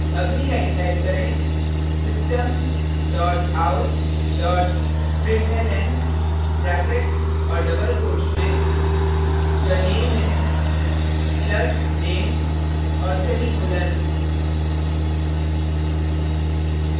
अगली line type करें system dot out dot println brackets और double quotes में the name is plus name और semicolon